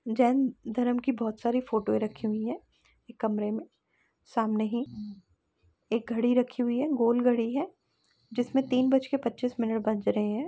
जैन धर्म की बोहोत सारी फोटोए रखी हुई हैं कमरे में सामने ही एक घड़ी रखी हुई है गोल घड़ी है जिसमें तीन बज कर पच्चीस मिनट बज रहे हैं।